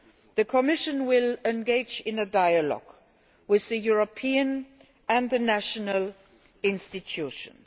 The Commission will engage in a dialogue with the European and the national institutions.